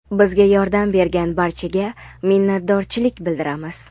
bizga yordam bergan barchaga minnatdorchilik bildiramiz.